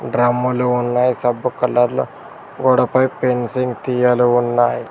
డ్రమ్ములు ఉన్నాయి సబ్బు కలర్లో గోడపై ఫెన్సింగ్ తీగలు ఉన్నాయి.